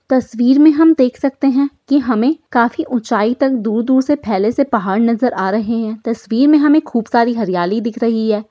तस्वीर में हम देख सकते है की हमे काफी ऊंचाई तक दूर दूर से फैले से पहाड़ नजर आ रहे हैं | तस्वीर में हमे खूब सारी हरियाली दिख रही हैं|